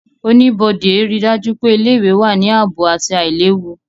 Oníbodé ríi dájú pé ilé-ìwé wà ní ààbò àti àìlewu